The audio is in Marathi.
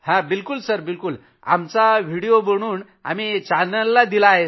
आम्ही मोदी सरआमचा व्हिडिओ बनवून चॅनल्समध्ये दिला आहे